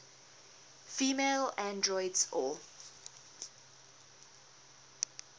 female androids or